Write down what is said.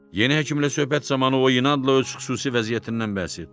Yeni həkimlə söhbət zamanı o inadla öz xüsusi vəziyyətindən bəhs etdi.